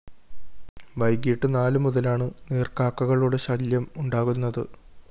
വൈകിട്ട് നാലു മുതലാണ് നീര്‍ക്കാക്കകളുടെ ശല്യം ഉണ്ടാകുന്നത്